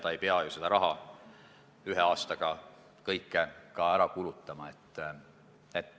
Ta ei pea ju kogu raha ühe aastaga ära kulutama.